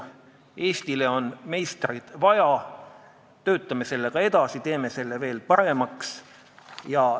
Eestile on meistreid vaja, töötame selle eelnõuga edasi, teeme selle veel paremaks!